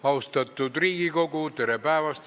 Austatud Riigikogu, tere päevast!